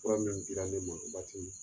Fura min dira ne ma